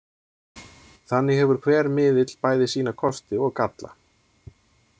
Þannig hefur hver miðill bæði sína kosti og galla.